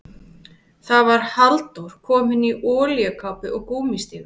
Það var Halldór, kominn í olíukápu og gúmmístígvél.